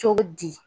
Cogo di